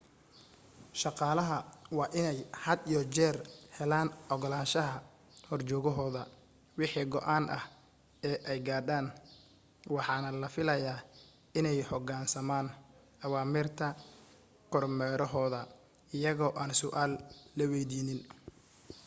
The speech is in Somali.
shaqaalaha waa inay had iyo jeer helaan ogolaashaha horjoogahooda wixii go'aan ah ee ay gaadhaan waxaana laga filayaa inay u hoggaansamaan awaamiirta kormeerahooda iyagoo aan su'aal la weydiinin